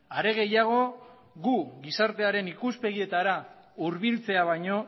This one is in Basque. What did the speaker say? are gehiago guk gizartearen ikuspegietara hurbiltzea baino